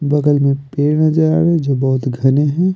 बगल में पेड़ नजर आ रहे हैं जो बहुत घने हैं।